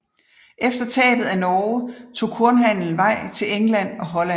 Efter tabet af Norge tog kornhandelen vej til England og Holland